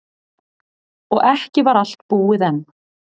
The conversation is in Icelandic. Og ekki var allt búið enn.